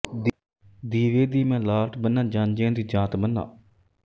ਦੀਵੇ ਦੀ ਮੈ ਲਾਟ ਬੰਨ੍ਹਾਜਾਂਞੀਆਂ ਦੀ ਜਾਤ ਬੰਨ੍ਹਾ